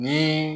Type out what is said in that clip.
Ni